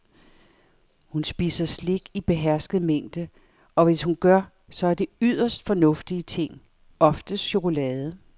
Hun spiser slik i behersket mængde, og hvis hun gør, så er det yderst fornuftige ting, oftest chokolade.